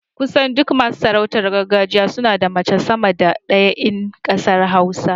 Kusan duk masu sarautar gargajiya suna da mace sama da ɗaya in ƙasar hausa.